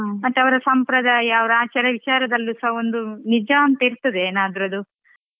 ಮತ್ತೆ ಅವ್ರ ಸಂಪ್ರದಾಯ ಅವ್ರ ಆಚಾರವಿಚಾರದಲ್ಲಿ ಸಹ ಒಂದು ನಿಜ ಅಂತ ಇರ್ತದೆ ಏನಾದ್ರು ಅದು.